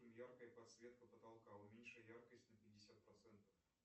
яркая подсветка потолка уменьши яркость на пятьдесят процентов